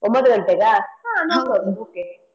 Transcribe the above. ಒಂಬತ್ತು ಗಂಟೆಗ